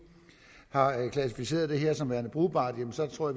har klassificeret det her som værende brugbart jamen så tror